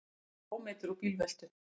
Sluppu ómeiddir úr bílveltu